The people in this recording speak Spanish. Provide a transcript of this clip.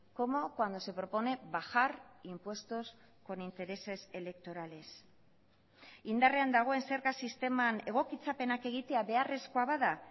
como cuando se propone bajar impuestos con intereses electorales indarrean dagoen zerga sisteman egokitzapenak egitea beharrezkoa bada